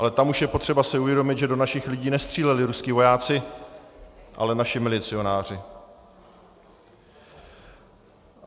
Ale tam už je potřeba si uvědomit, že do našich lidí nestříleli ruští vojáci, ale naši milicionáři.